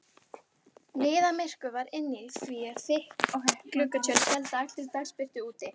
Niðamyrkur var inni því að þykk gluggatjöld héldu allri dagsbirtu úti.